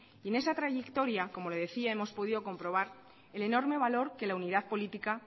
en esta trayectoria como le decía hemos podido comprobar el enorme valor que la unidad política